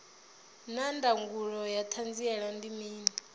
naa ndangulo ya hanziela ndi mini